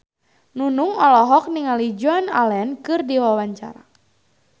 Nunung olohok ningali Joan Allen keur diwawancara